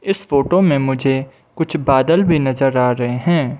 इस फोटो में मुझे कुछ बादल भी नजर आ रहे हैं।